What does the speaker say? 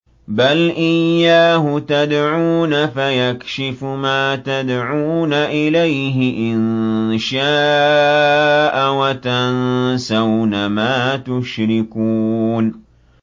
بَلْ إِيَّاهُ تَدْعُونَ فَيَكْشِفُ مَا تَدْعُونَ إِلَيْهِ إِن شَاءَ وَتَنسَوْنَ مَا تُشْرِكُونَ